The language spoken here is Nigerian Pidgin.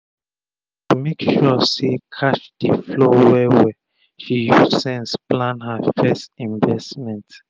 to make sure say cash dey flow well well she use sense plan her fess investment